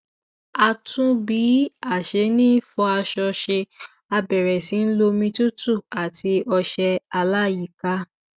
a tún bí a ṣe ń fọ aṣọ ṣe a bẹrẹ sí í lo omi tútù àti ọṣẹ aláyíká